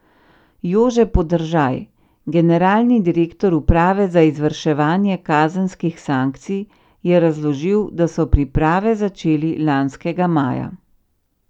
Jože Podržaj, generalni direktor uprave za izvrševanje kazenskih sankcij, je razložil, da so priprave začeli lanskega maja.